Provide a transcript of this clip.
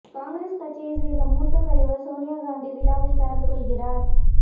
காங்கிரஸ் கட்சியை சேர்ந்த மூத்த தலைவர் சோனியா காந்தி விழாவில் கலந்து கொள்கிறார்